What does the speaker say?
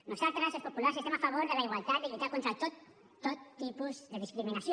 nosaltres els populars estem a favor de la igualtat i de lluitar contra tot tot tipus de discriminació